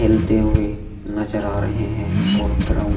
खेलते हुए नजर आ रहे हैं और ग्राउंड --